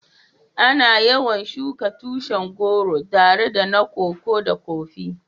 Ana yawan shuka tushin goro tare da na Koko da Kofi.